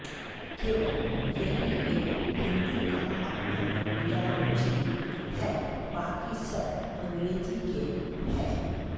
केवल यही एक हिंदी का अपना विराम चिह्न है बाकी सब अंग्रेजी के हैं